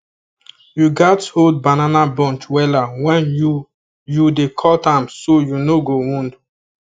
you gatz hold banana bunch wella when you you dey cut am so you no go wound